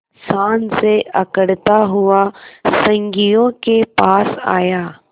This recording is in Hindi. शान से अकड़ता हुआ संगियों के पास आया